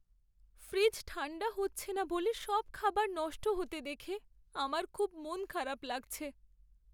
Fridge ঠাণ্ডা হচ্ছে না বলে সব খাবার নষ্ট হতে দেখে আমার খুব মন খারাপ লাগছে।